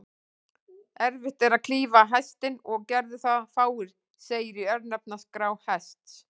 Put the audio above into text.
Erfitt er að klífa Hestinn, og gerðu það fáir, segir í örnefnaskrá Hests.